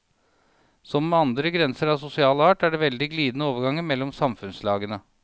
Som med alle andre grenser av sosial art er det veldig glidende overganger mellom samfunnslagene.